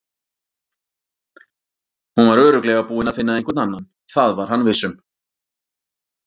Hún var örugglega búin að finna einhvern annan, það var hann viss um.